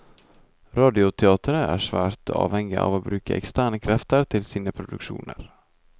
Radioteatret er svært avhengig av å bruke eksterne krefter til sine produksjoner.